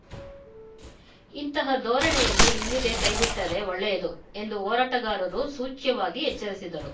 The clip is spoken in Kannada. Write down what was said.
ಇಂತಹ ಧೋರಣೆಯಲ್ಲಿ ಇಲ್ಲಿಗೆ ಕೈಬಿಟ್ಟರೆ ಒಳ್ಳೆಯದು ಎಂದು ಹೋರಾಟಗಾರರು ಸೂಚ್ಯವಾಗಿ ಎಚ್ಚರಿಸಿದರು